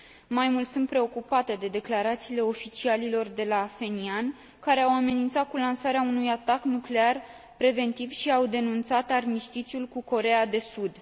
Mai mult, sunt preocupată de declarațiile oficialilor de la Phenian, care au amenințat cu lansarea unui atac nuclear preventiv și au denunțat armistițiul cu Coreea de Sud.